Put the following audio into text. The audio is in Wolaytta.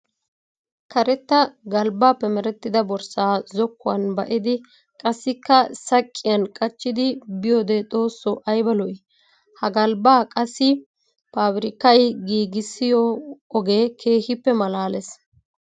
Karetta galbbappe merettidda borssa zokkuwan ba'iddi qassikka saqqiyan qachchiddi biyoode xooso aybba lo'i! Ha galbba qassi paabirkkay giigissiyo oge keehippe malaales.